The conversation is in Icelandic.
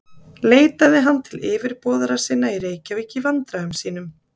Leitaði hann til yfirboðara sinna í Reykjavík í vandræðum sínum.